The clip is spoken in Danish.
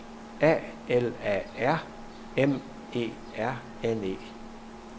A L A R M E R N E